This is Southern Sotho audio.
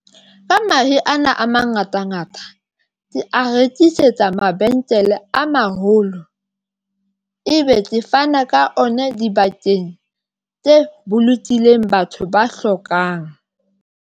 Ka mahe ana a mangatangata ke a rekisetsa mabenkele a maholo ebe ke fana ka ona dibakeng tse bolokileng batho ba hlokang